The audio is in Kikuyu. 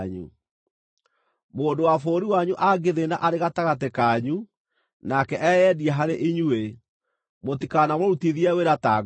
“ ‘Mũndũ wa bũrũri wanyu angĩthĩĩna arĩ gatagatĩ kanyu, nake eyendie harĩ inyuĩ, mũtikanamũrutithie wĩra ta ngombo.